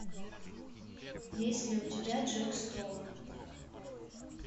есть ли у тебя джек стоун